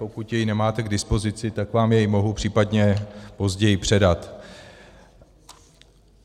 Pokud jej nemáte k dispozici, tak vám jej mohu případně později předat.